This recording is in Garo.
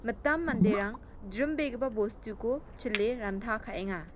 mitam manderang jrimbegipa bostuko chile ranta ka·enga.